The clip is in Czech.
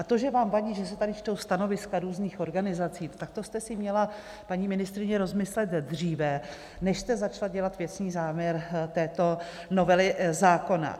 A to, že vám vadí, že se tady čtou stanoviska různých organizací, tak to jste si měla, paní ministryně, rozmyslet dříve, než jste začala dělat věcný záměr této novely zákona.